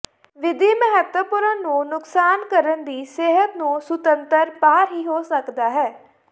ਵਿਧੀ ਮਹੱਤਵਪੂਰਨ ਨੂੰ ਨੁਕਸਾਨ ਕਰਨ ਦੀ ਸਿਹਤ ਨੂੰ ਸੁਤੰਤਰ ਬਾਹਰ ਹੀ ਹੋ ਸਕਦਾ ਹੈ